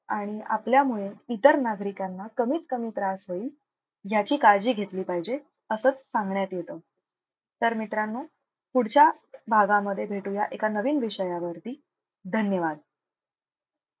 आणि आपल्यामुळे इतर नागरिकांना कमीत कमी त्रास होईल. याची काळजी घेतली पाहिजे. असच सांगण्यात येत तर मित्रांनो पुढच्या भागामध्ये भेटूया एका नवीन विषयावरती धन्यवाद